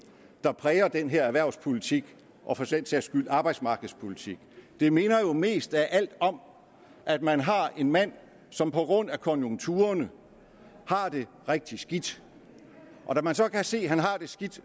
der præger den her erhvervspolitik og for den sags skyld arbejdsmarkedspolitik det minder jo mest af alt om at man har en mand som på grund af konjunkturerne har det rigtig skidt og når man så kan se at han har det skidt